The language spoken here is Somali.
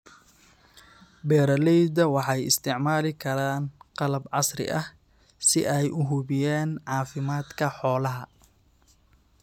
Beeralayda waxay isticmaali karaan qalab casri ah si ay u hubiyaan caafimaadka xoolaha.